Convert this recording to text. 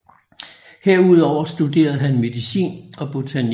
Herudover studerede han medicin og botanik